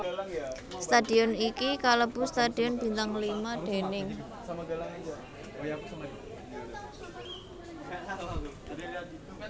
Stadion iki kalebu stadion bintang lima déning